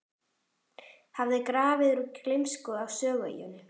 hafði grafið úr gleymsku á Sögueyjunni.